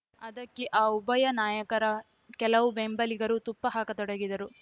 ಅದಕ್ಕೆ ಆ ಉಭಯ ನಾಯಕರ ಕೆಲವು ಬೆಂಬಲಿಗರೂ ತುಪ್ಪ ಹಾಕತೊಡಗಿದರು